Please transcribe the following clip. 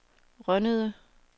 Rønnede